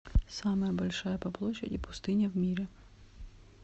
самая большая по площади пустыня в мире